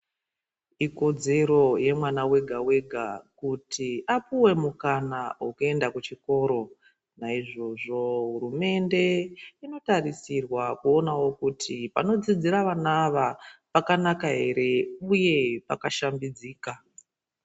Ikodzero yemwana wega wega kuti apuwe mukana wekuenda kuchikora. Naizvozvo hurumende inotarisirwa kuningira kuti munodzidzira vana ava mwakanaka ere uye pakashambidzika.